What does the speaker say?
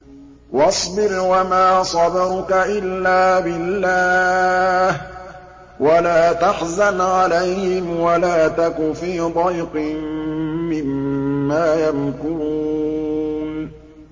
وَاصْبِرْ وَمَا صَبْرُكَ إِلَّا بِاللَّهِ ۚ وَلَا تَحْزَنْ عَلَيْهِمْ وَلَا تَكُ فِي ضَيْقٍ مِّمَّا يَمْكُرُونَ